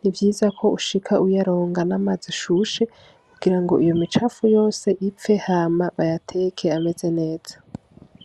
nivyiza ko ushika uyaronga n'amazi ashushe kugirango iyo micafu yose ipfe hama bayateke ameze neza.